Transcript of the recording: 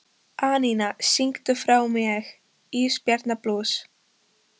Anína, syngdu fyrir mig „Ísbjarnarblús“.